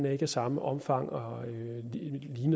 er af samme omfang og